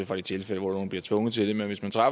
fra de tilfælde hvor man bliver tvunget til det men hvis man